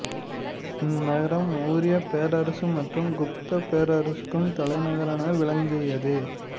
இந்நகரம் மௌரியப் பேரரசு மற்றும் குப்தப் பேரரசுக்கும் தலைநகராக விளங்கியது